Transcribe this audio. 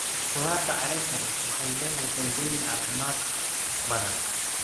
Khudaarta caleenta leh waxay leedahay faa'iidooyin caafimaad oo badan.